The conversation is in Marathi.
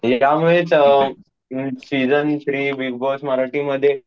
एकामुळेच अं season three Bigg Boss Marathi मध्ये